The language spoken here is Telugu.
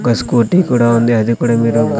ఒక స్కూటీ కూడా ఉంది అది కూడా మీరు--